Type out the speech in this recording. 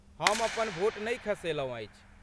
हम अपन वोट नै खसेलहुँ अछि।